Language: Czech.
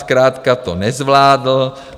Zkrátka to nezvládl.